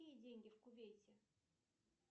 какие деньги в кувейте